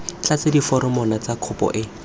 tlatse diforomo tsa kopo o